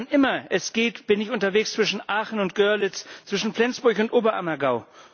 Wann immer es geht, bin ich unterwegs zwischen Aachen und Görlitz, zwischen Flensburg und Oberammergau.